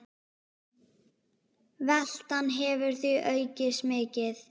Veltan hefur því aukist mikið.